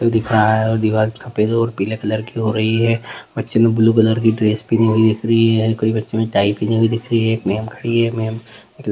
दिखाएं और दीवार सफेद और पीले कलर की हो रही है बच्चे ने ब्लू कलर की ड्रेस पहनी हुई दिख रही है मैम खड़ी है मैम --